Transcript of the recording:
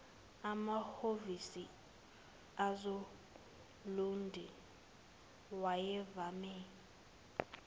emahhovisi asolundi wayevame